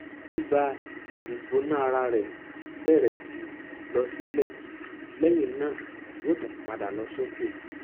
ibàìgbónáara rẹ bẹrẹ síí lọ sílẹ lẹyìn náà yó tún padà lọ sókè